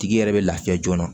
Tigi yɛrɛ bɛ lafiya joona